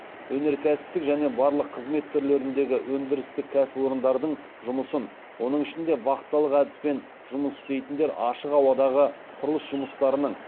өнеркәсіптік және барлық қызмет түрлеріндегі өндірістік кәсіпорындардың жұмысын оның ішінде вахталық әдіспен жұмыс істейтіндер ашық ауадағы құрылыс жұмыстарының